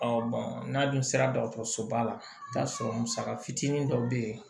n'a dun sera dɔgɔtɔrɔsoba la i bɛ taa sɔrɔ musaka fitinin dɔ bɛ yen